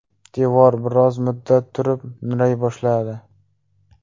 Devor biroz muddat turib, nuray boshladi.